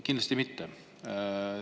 Kindlasti mitte!